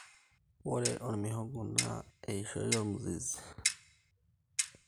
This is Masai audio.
Ore ormihogo na eishoii ormizizi